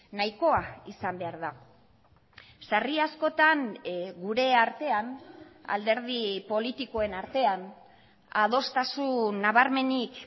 nahikoa izan behar da sarri askotan gure artean alderdi politikoen artean adostasun nabarmenik